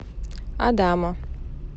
адамо